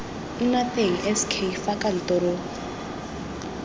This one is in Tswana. nna teng sk fa kantoro